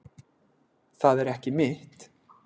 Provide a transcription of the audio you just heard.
Það er ekki mitt.